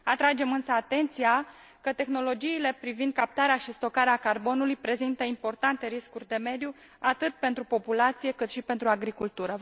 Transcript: Atragem însă atenția că tehnologiile privind captarea și stocarea carbonului prezintă importante riscuri de mediu, atât pentru populație, cât și pentru agricultură.